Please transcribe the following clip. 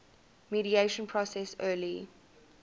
mediation process early